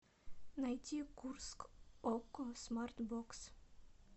найти курск окко смарт бокс